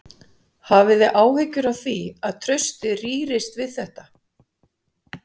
Hafið þið áhyggjur af því að traustið rýrist við þetta?